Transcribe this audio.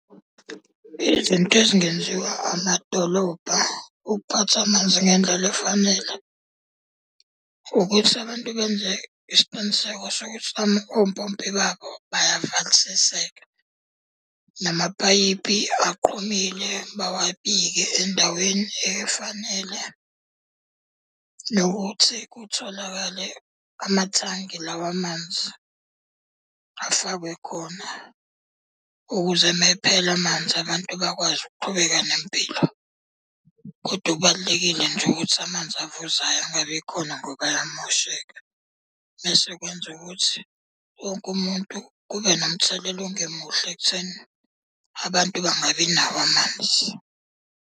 Izinto ezingenziwa amadolobha ukuphatha amanzi ngendlela efanele, ukuthi abantu benze isiqiniseko sokuthi ompompi babo bayavalisiseka. Namapayipi aqhumile bawabike endaweni efanele. Nokuthi kutholakale amathangi lawa amanzi, afakwe khona ukuze uma ephela amanzi abantu bakwazi ukuqhubeka nempilo. Kodwa okubalulekile nje ukuthi amanzi avuzayo angabi khona ngoba ayamosheka. Bese kwenza ukuthi wonke umuntu kube nomthelela ongemuhle ekutheni abantu bangabi nawo amanzi.